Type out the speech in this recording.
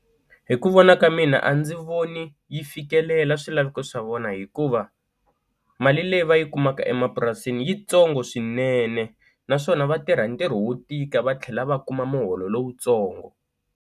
Hi ku vona ka mina a ndzi voni yi fikelela swilaveko swa vona hikuva mali leyi va yi kumaka emapurasini yitsongo swinene naswona vatirha ntirho wo tika va tlhela va kuma muholo lowutsongo.